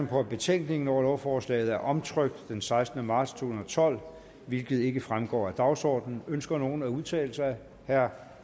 på at betænkningen over lovforslaget er omtrykt den sekstende marts to tusind og tolv hvilket ikke fremgår af dagsordenen ønsker nogen at udtale sig herre